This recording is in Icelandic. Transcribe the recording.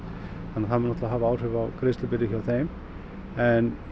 þannig að það mun hafa áhrif á greiðslubyrði hjá þeim en